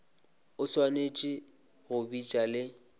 o swanetše go bitša le